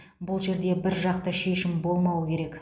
бұл жерде біржақты шешім болмауы керек